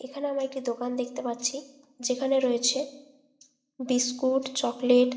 এইখানে আমরা একটি দোকান দেখতে পাচ্ছি। যেখানে রয়েছে বিস্কুট চকলেট --